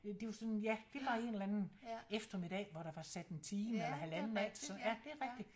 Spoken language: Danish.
Det er jo sådan ja det er bare en eller anden eftermiddag hvor der var sat en time eller halvanden af til sådan ja det er rigtigt